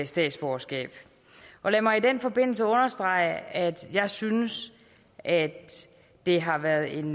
statsborgerskab lad mig i den forbindelse understrege at jeg synes at det har været en